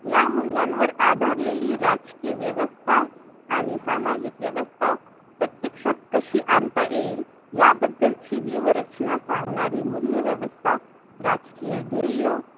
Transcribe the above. या मूल्यानवर आधारलेली राजकीय व्यवस्था आणि सामाजिक व्यवस्था प्रत्यक्षात आणि आणता येईल याबद्दल ची व्ह्यूवरचना सांगणारी मूल्यव्यवस्था, राजकीय ध्येय